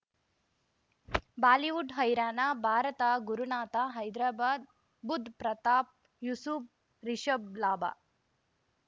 Bollywood ಹೈರಾಣ ಭಾರತ ಗುರುನಾಥ ಹೈದ್ರಾಬಾದ್ ಬುಧ್ ಪ್ರತಾಪ್ ಯೂಸುಫ್ ರಿಷಬ್ ಲಾಭ